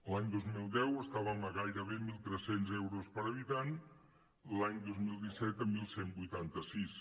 l’any dos mil deu estàvem a gairebé mil tres cents euros per habitant l’any dos mil disset a onze vuitanta sis